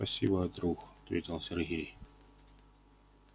спасибо друг ответил сергей